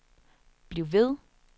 bliv ved